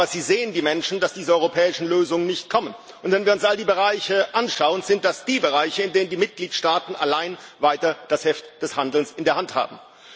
Aber die Menschen sehen, dass diese europäischen Lösungen nicht kommen, und wenn wir uns all die Bereiche anschauen, sind das die Bereiche, in denen die Mitgliedstaaten allein weiter das Heft des Handelns in der Hand haben.